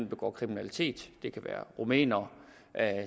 begår kriminalitet det kan være rumænere